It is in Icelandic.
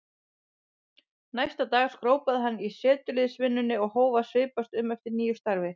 Næsta dag skrópaði hann í setuliðsvinnunni og hóf að svipast um eftir nýju starfi.